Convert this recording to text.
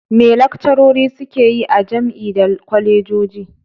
Me lakcarori suke yi a jam'i da kwalejoji?